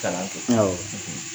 'tag , awɔ.